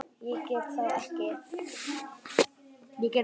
Ég get það ekki